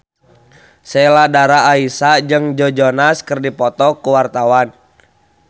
Sheila Dara Aisha jeung Joe Jonas keur dipoto ku wartawan